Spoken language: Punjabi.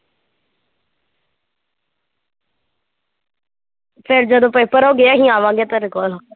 ਫਿਰ ਜਦੋਂ ਪੇਪਰ ਹੋ ਗਏ ਅਸੀਂ ਆਵਾਂਗੇ ਤੇਰੇ ਕੋਲ